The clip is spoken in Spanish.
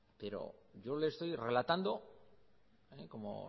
pero yo le estoy relatando como